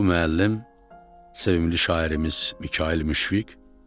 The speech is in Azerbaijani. Bu müəllim sevimli şairimiz Mikayıl Müşfiq.